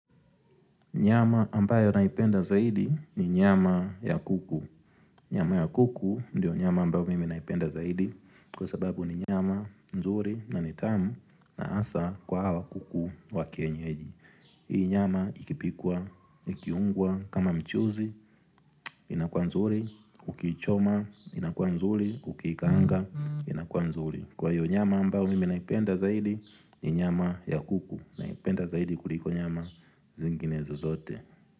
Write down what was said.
Nyama ambayo naipenda zaidi ni nyama ya kuku. Nyama ya kuku ndiyo nyama ambayo mimi naipenda zaidi kwa sababu ni nyama nzuri na nitamu na asa kwa hawa kuku wa kenyeji. Hii nyama ikipikwa, ikiungwa, kama mchuzi, inakuwa nzuri, ukiichoma, inakua nzuri, ukiikanga, inakua nzuri. Kwa hiyo nyama ambayo mimi naipenda zaidi ni nyama ya kuku. Naipenda zaidi kuliko nyama zingine zozote.